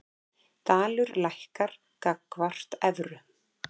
Dalur lækkar gagnvart evru